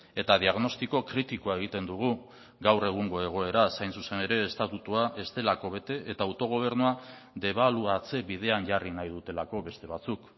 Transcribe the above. eta diagnostiko kritikoa egiten dugu gaur egungo egoeraz hain zuzen ere estatutua ez delako bete eta autogobernua debaluatze bidean jarri nahi dutelako beste batzuk